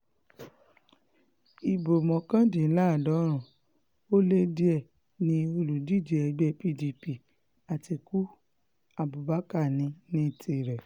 ibo mọ́kàndínláàádọ́rùn um ó lé díẹ̀ ni olùdíje ẹgbẹ́ pdp àtikukú abubakar ní um ní tirẹ̀